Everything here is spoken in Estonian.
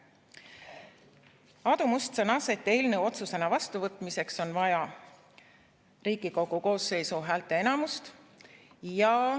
Aadu Must sõnas, et eelnõu otsusena vastuvõtmiseks on vaja Riigikogu koosseisu häälteenamust.